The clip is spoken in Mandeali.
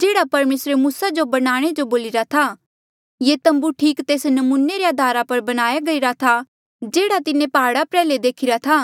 जेह्ड़ा परमेसरे मूसा जो बनाणे जो बोलिरा था ये तम्बू ठीक तेस नमूने रे अधारा पर बणाया गईरा था जेह्ड़ा तिन्हें प्हाड़ा प्र्ह्याले देखिरा था